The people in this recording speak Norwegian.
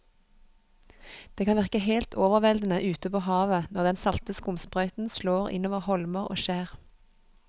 Det kan virke helt overveldende ute ved havet når den salte skumsprøyten slår innover holmer og skjær.